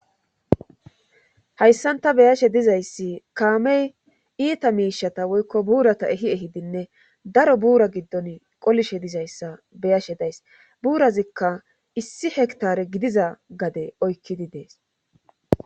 hayssanta beyashe dizayssi kaamey iita miishata woykko buurata ehi ehidinne daro buura giddon qolishe dizayssa beyashe days buurazikka issi hektare gidiza gade oykkidi dees